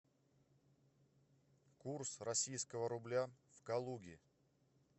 курс российского рубля в калуге